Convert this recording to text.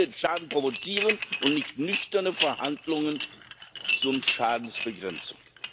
Sie wollen den Schaden provozieren und nicht nüchterne Verhandlungen zur Schadensbegrenzung.